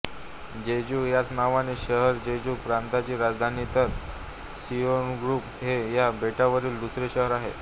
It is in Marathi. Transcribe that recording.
जेजू ह्याच नावाचे शहर जेजू प्रांतची राजधानी तर सिओग्विपू हे ह्या बेटावरील दुसरे शहर आहे